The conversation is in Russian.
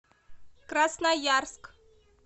красноярск